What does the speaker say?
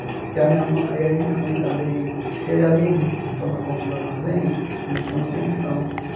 Porque a minha mã e aí minha mãe também... Ele, além de de tomar conta do armazém, ele tinha uma pensão.